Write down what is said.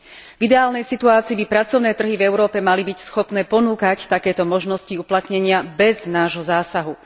V ideálnej situácii by pracovné trhy v Európe mali byť schopné ponúkať takéto možnosti uplatnenia bez nášho zásahu.